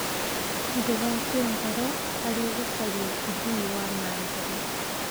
Ndũgakue ngoro harĩ gũcaria ũthii wa na mbere.